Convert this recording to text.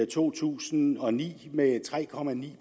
to tusind og ni med tre